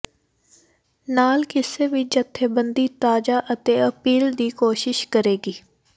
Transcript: ਨਾਲ ਕਿਸੇ ਵੀ ਜਥੇਬੰਦੀ ਤਾਜ਼ਾ ਅਤੇ ਅਪੀਲ ਦੀ ਕੋਸ਼ਿਸ਼ ਕਰੇਗੀ